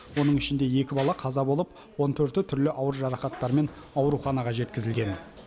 оның ішінде екі бала қаза болып он төрті түрлі ауыр жарақаттармен ауруханаға жеткізілген